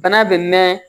Bana bɛ mɛn